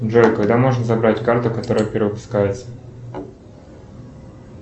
джой когда можно забрать карту которая перевыпускается